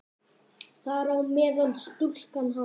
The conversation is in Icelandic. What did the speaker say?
Þar á meðal stúlkan hans.